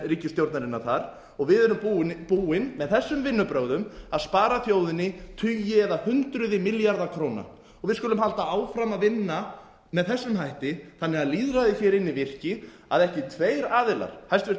ríkisstjórnarinnar þar og við erum búin með þessum vinnubrögðum að spara þjóðinni tugi eða hundruð milljarða króna og við skulum halda áfram að vinna með þessum hætti þannig að lýðræðið inni virki að ekki tveir aðilar hæstvirtur